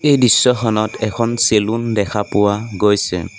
এই দৃশ্যখনত এখন চেলুন দেখা পোৱা গৈছে।